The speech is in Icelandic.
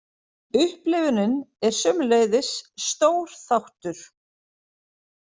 Upplifunin er sömuleiðis stór þáttur.